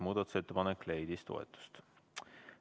Muudatusettepanek leidis toetust.